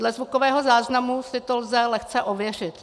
Dle zvukového záznamu si to lze lehce ověřit.